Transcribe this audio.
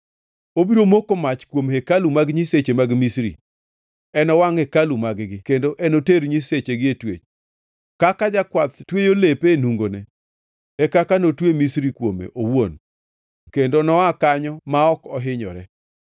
Obiro moko mach kuom hekalu mag nyiseche mag Misri; enowangʼ hekalu mag-gi kendo enoter nyisechigi e twech. Kaka jakwath tweyo lepe e nungone, e kaka notwe Misri kuome owuon kendo noa kanyo ma ok ohinyore.